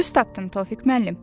Düz tapdın, Tofiq müəllim.